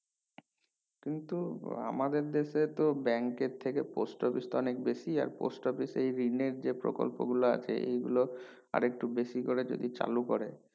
কিন্তু আমাদের দেশেতো bank এর থেকে post office টা অনেক বেশি আর post office এ loan এর যে প্রকল্প গুলো আছে এই গুলো আরেকটু বেশি করে যদি চালুকরে